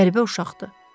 Qəribə uşaqdır.